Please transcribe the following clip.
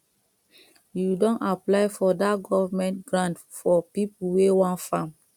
you don apply for that government grant for people wey wan farm